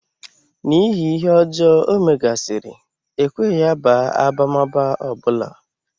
N'ihi ihe ọjọọ ọ megasị́rị, e kweghị ya baa abamaba ọ bụla.